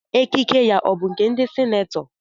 Ekike ya ọ bụ nke ndị senetọ?